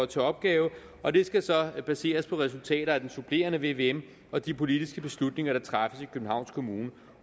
til opgave og det skal så baseres på resultater af den supplerende vvm og de politiske beslutninger der træffes i københavns kommune